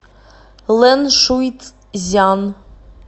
лэншуйцзян